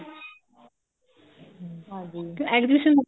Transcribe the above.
ਹਮ ਹਾਂਜੀ ਫੇਰ education